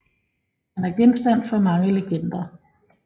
Han er genstand for mange legender